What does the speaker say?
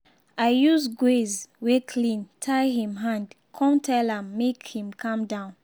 i use gauze wey clean tie him hand come tell am make him calm down.